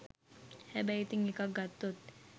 හැබැයි ඉතිං එකක් ගත්තොත්